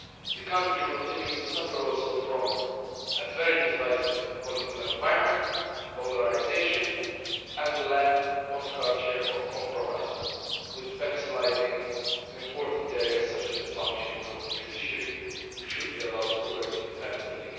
The country continues to suffer from a very divisive political environment, polarisation and the lack of a culture of compromise, with backsliding in important areas such as the functioning of the judiciary, which should be allowed to work independently.